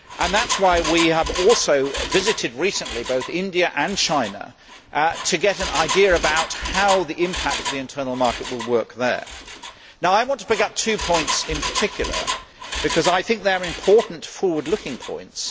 That is why we have also recently visited both India and China to get an idea about how the impact of the internal market will work there. I want to pick up two points in particular because I think they are important, forward looking points.